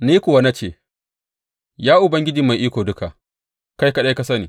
Ni kuwa na ce, Ya Ubangiji Mai Iko Duka, kai kaɗai ka sani.